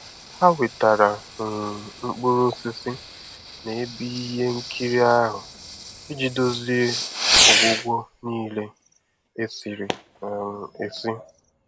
Ha wetara um mkpụrụ osisi na ebe ihe nkiri ahụ iji dozie ọgwụgwọ niile esiri um esi.